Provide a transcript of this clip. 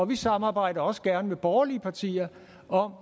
vi samarbejder også gerne med borgerlige partier om